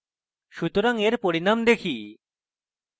সুতরাং এখন পরিনাম দেখি